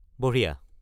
বঢ়িয়া।